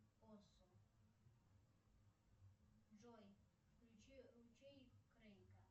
джой включи ручей крейка